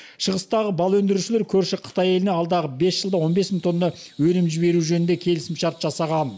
шығыстағы бал өндірушілер көрші қытай еліне алдағы бес жылда он бес мың тонна өнім жіберу жөнінде келісімшарт жасаған